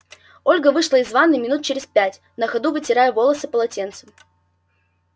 ольга вышла из ванны минут через пять на ходу вытирая волосы полотенцем